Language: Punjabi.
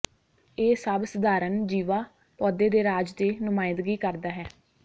ਇਹ ਸਭ ਸਧਾਰਨ ਜੀਵਾ ਪੌਦੇ ਦੇ ਰਾਜ ਦੀ ਨੁਮਾਇੰਦਗੀ ਕਰਦਾ ਹੈ